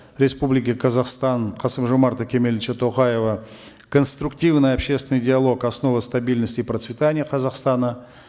республики казахстан касым жомарта кемелевича токаева конструктивный общественный диалог основа стабильности и процветания казахстана